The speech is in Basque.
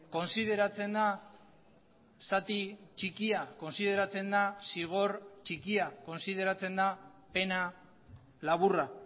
kontsideratzen da zati txikia kontsideratzen da zigor txikia kontsideratzen da pena laburra